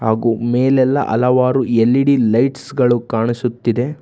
ಹಾಗು ಮೇಲೆಲ್ಲಾ ಅಲವಾರು ಎಲ್_ಇ_ಡಿ ಲೈಟ್ಸ್ ಗಳು ಕಾಣಿಸುತ್ತಿದೆ.